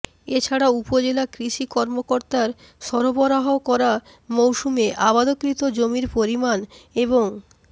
এ ছাড়া উপজেলা কৃষি কর্মকর্তার সরবরাহ করা মৌসুমে আবাদকৃত জমির পরিমাণ এবং